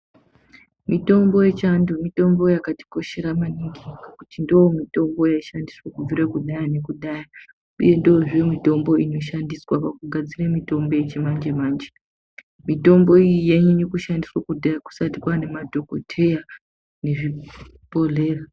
Mitombo yechiantu mitombo yakatikoshera maningi ngekuti ndiyo mitombo yaishandiswa kubvira kudhaya nekudhaya uyezve ndiyo mitombo inoshandiswa pakugadzire mitombo yechimanje manje. Mitombo iyi yainyanya kushandiswa kudhaya kusati kwane madhokoteya nezvibhlohlera.